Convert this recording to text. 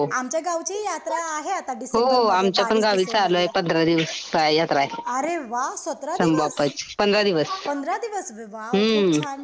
आमच्या गावची यात्रा आहे आता डिसेंबर मधे. अरे वा सतरा दिवस. पंधरा दिवस वा खूप छान.